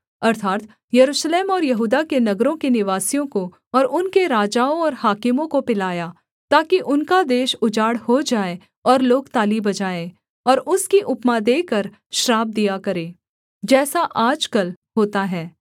अर्थात् यरूशलेम और यहूदा के नगरों के निवासियों को और उनके राजाओं और हाकिमों को पिलाया ताकि उनका देश उजाड़ हो जाए और लोग ताली बजाएँ और उसकी उपमा देकर श्राप दिया करें जैसा आजकल होता है